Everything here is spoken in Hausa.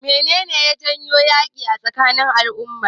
Menene ya janyo yaƙi tsakanin al'ummar?